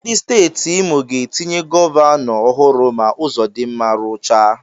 Ndị Steeti Imo ga-etinye gọvanọ ọhụrụ ma Ụzọdinma ruchaa.